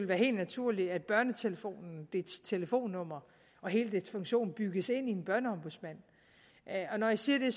være helt naturligt at børnetelefonen dens telefonnumre og hele dens funktion bygges ind i en børneombudsmand når jeg siger det